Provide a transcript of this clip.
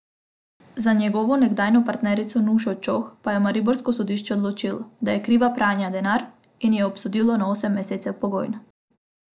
Za njegovo nekdanjo partnerico Nušo Čoh pa je mariborsko sodišče odločilo, da je kriva pranja denarja, in jo obsodilo na osem mesecev pogojno.